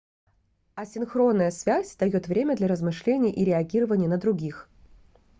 асинхронная связь даёт время для размышлений и реагирования на других